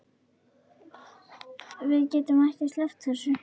Við getum ekki sleppt þessu.